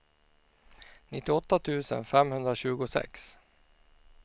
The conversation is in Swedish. nittioåtta tusen femhundratjugosex